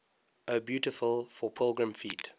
o beautiful for pilgrim feet